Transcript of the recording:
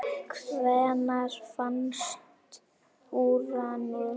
Hvenær fannst Úranus?